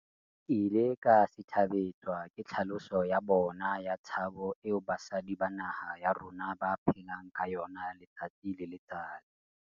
Ke ile ka sithabetswa ke tlhaloso ya bona ya tshabo eo basadi ba naha ya rona ba phelang ka yona letsatsi le letsatsi.